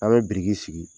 An bɛ biriki sigi